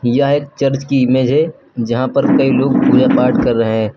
यह एक चर्च की इमेज है जहां पर कई लोग पूजा पाठ कर रहे हैं।